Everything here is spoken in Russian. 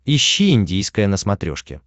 ищи индийское на смотрешке